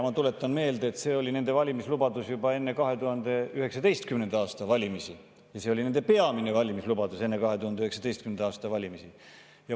Ma tuletan meelde, et see oli nende valimislubadus juba enne 2019. aasta valimisi ja see oli nende peamine valimislubadus enne 2019. aasta valimisi.